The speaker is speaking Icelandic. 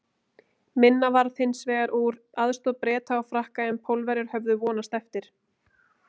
Minna varð hins vegar úr aðstoð Breta og Frakka en Pólverjar höfðu vonast eftir.